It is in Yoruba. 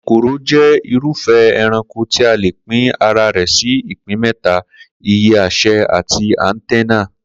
Kòkòrò jé̩ irúfé̩ e̩ranko tí a lè pín ara rè̩ sí ìpín mé̩ta: ìyé̩, e̩sè̩ àti àǹténà